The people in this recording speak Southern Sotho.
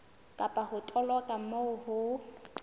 kapa ho toloka moo ho